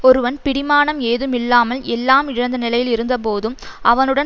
ஒருவன் பிடிமானம் ஏதும் இல்லாமல் எல்லாம் இழந்த நிலையில் இருந்தபோதும் அவனுடன்